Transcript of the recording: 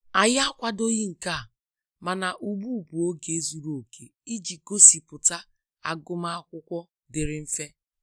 Anyi akwadoghi nke a, mana ụgbụ bụ oge zụrụ oke iji gosiputa agum akwụkwo diri mfe.